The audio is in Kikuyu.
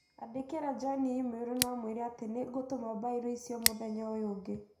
Andĩkĩre John i-mīrū na ũmwĩre atĩ nĩ ngatũma bairo icio mũthenya ũyũ ũngĩ